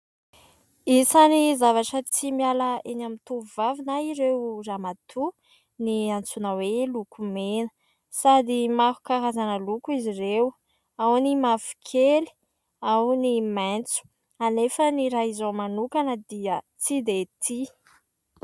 Isany zavatra tsy miala eny amin'ny tovovavy na ireo ramatoa ny antsoina hoe lokomena. Sady maro karazana loko izy ireo ao : ny mavokely, ao ny maitso. Anefa ny raha izao manokana dia tsy de tia.